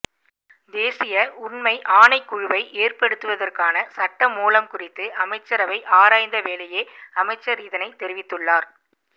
தேசிய உண்மை ஆணைக்குழுவை ஏற்படுத்துவதற்கான சட்டமூலம் குறித்து அமைச்சரவை ஆராய்ந்த வேளையே அமைச்சர் இதனை தெரிவித்துள்ளார்